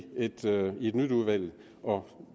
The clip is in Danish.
et nyt udvalg og